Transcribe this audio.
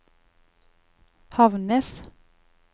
Havnnes